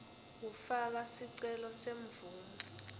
kufaka sicelo semvumo